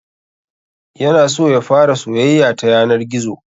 Ya na so ya fara soyayya ta yanar gizo